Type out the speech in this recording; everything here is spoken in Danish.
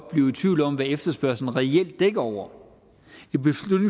blive i tvivl om hvad efterspørgslen reelt dækker over